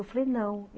Eu falei, não.